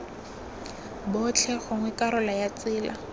botlhe gongwe karolo ya tsela